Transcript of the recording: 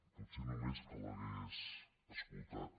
potser només si l’hagués escoltat